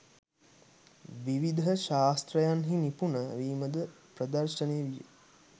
විවිධ ශාස්ත්‍රයන්හි, නිපුන වීමද ප්‍රදර්ශනය විය.